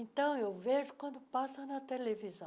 Então, eu vejo quando passa na televisão.